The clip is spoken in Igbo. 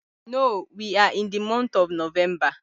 No, we are in the month of Novemba